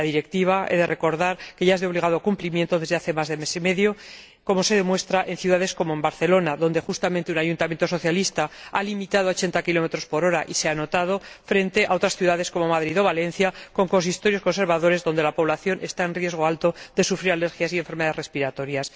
He de recordar que la Directiva ya es de obligado cumplimiento desde hace más de mes y medio, como se demuestra en ciudades como Barcelona, donde justamente un ayuntamiento socialista ha limitado la velocidad a 80 km h, y se ha notado, frente a otras ciudades, como Madrid o Valencia, con consistorios conservadores, donde la población está en riesgo alto de sufrir alergias y enfermedades respiratorias.